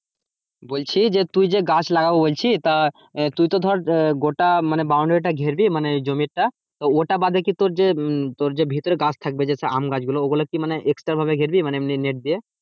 বলছি তুই যে গাছ লাগাবি বলছিস তা তুই তো মানে গোটা মানে বাউন্ডারিটা ঘেরবি মানে জমিটা তো ওইটা বাদে কি যে তো হম তোর যে ভেতরে গাছ থাকবে যে আমি গাছ ওই গুলো মানে extra ভাবে ঘেরবি? মানে এমনি net দিয়ে।